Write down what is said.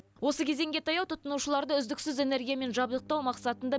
осы кезеңге таяу тұтынушыларды үздіксіз энергиямен жабдықтау мақсатында